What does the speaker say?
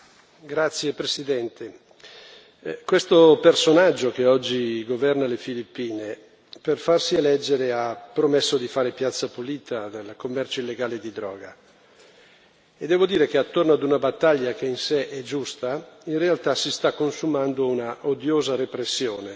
Signor Presidente, onorevoli colleghi, questo personaggio, che oggi governa le Filippine, per farsi eleggere ha promesso di fare piazza pulita del commercio illegale di droga e devo dire che attorno ad una battaglia che in sé è giusta, in realtà si sta consumando una odiosa repressione.